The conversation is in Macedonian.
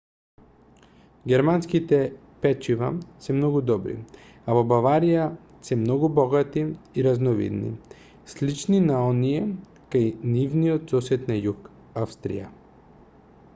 германските печива се многу добри а во баварија се многу богати и разновидни слични на оние кај нивниот сосед на југ австрија